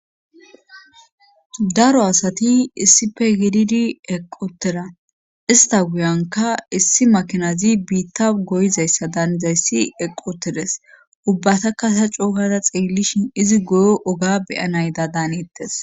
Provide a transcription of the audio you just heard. daro asati issife gididi eqotera ista guyanka issi makinazi biitta goyizayssa daanizayssi eqotedes ubbatakasa coogara xeellishin izi goyo oga beyana yida daanettes